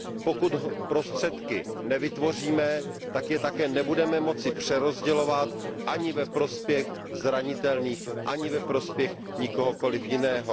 Pokud prostředky nevytvoříme, tak je také nebudeme moci přerozdělovat, ani ve prospěch zranitelných, ani ve prospěch nikoho jiného.